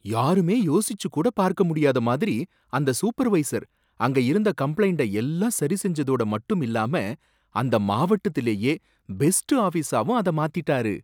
யாருமே யோசிச்சு கூட பார்க்க முடியாத மாதிரி அந்த சூப்பர்வைசர் அங்க இருந்த கம்ப்ளைன்ட எல்லாம் சரி செஞ்சதோட மட்டும் இல்லாம அந்த மாவட்டத்திலேயே பெஸ்ட் ஆபீசாவும் அத மாத்தீட்டாரு.